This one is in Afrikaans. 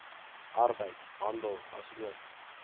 arbeid handel asook